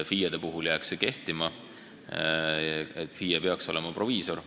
FIE-de puhul jääks kehtima nõue, et FIE peaks olema proviisor.